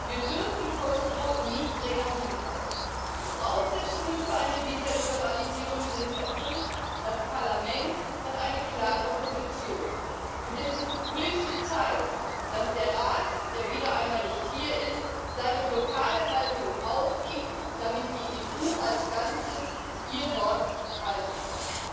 Wir dürfen Kosovo nicht länger hinhalten. Die Voraussetzungen für eine Visaliberalisierung sind erfüllt, das Parlament hat eine klare Position, und es ist höchste Zeit, dass der Rat, der wieder einmal nicht hier ist, seine Blockadehaltung aufgibt, damit die EU als Ganzes ihr Wort halten kann.